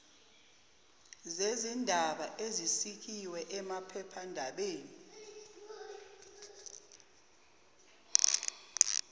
zezindaba ezisikiwe emaphephandabeni